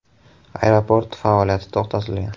Aeroport faoliyati to‘xtatilgan.